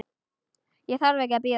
Ég þarf ekki að bíða.